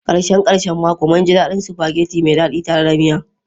Karshen karshen mako, mun ji daɗin spaghetti mai daɗi tare da miya.